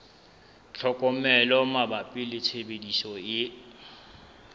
tlhokomelo mabapi le tshebediso e